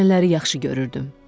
Gələnləri yaxşı görürdüm.